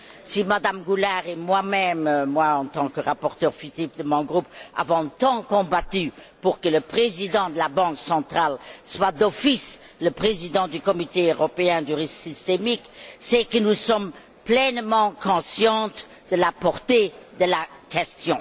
Si Mme Goulard et moi même moi, en tant que rapporteur fictif de mon groupe avons tant combattu pour que le président de la Banque centrale soit d'office le président du Comité européen du risque systémique, c'est que nous sommes pleinement conscientes de la portée de la question.